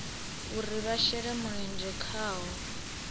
uri vha shele mulenzhe khaho